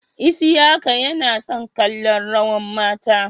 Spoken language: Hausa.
Isiaka Yana son kallon rawar mata.